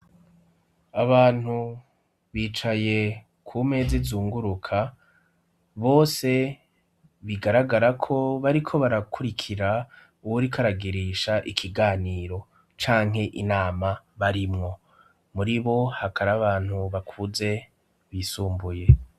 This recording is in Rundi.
Abantu bicaye ku meza izunguruka bose bigaragarako bariko barakurikira uwuriko aragirisha ikiganiro canke inama barimwo muri bo hakari abantu bakuze bisumbuye.